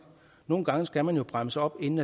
nogle gange skal man jo bremse op inden